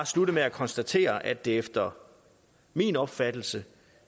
slutte med at konstatere at det efter min opfattelse